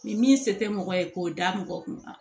Ni min se tɛ mɔgɔ ye k'o da mɔgɔ kunna